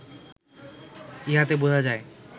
ইহাতে বুঝা যায়